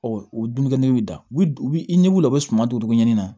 o dumunikɛyi dabi n'i wulila u bɛ suman don cogo ɲini na